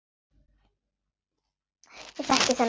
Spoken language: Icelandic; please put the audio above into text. Ég þekki þennan tón.